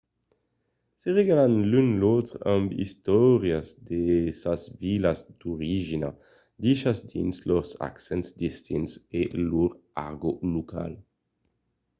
se regalan l'un l'autre amb d'istòrias de sas vilas d'origina dichas dins lors accents distints e lor argòt local